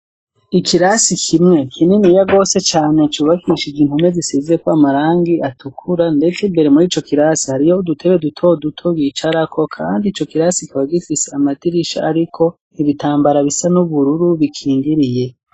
Ikirasi kimwe kininiya gose cane, cubakishije impome zisizeko amarangi atukura, ndetse, imbere muri ico kirasi harimwo udutebe duto duto bicarako, kandi ico kirasi kikaba gifise amadirisha ariko ibitambara bisa n'ubururu bikingiriye.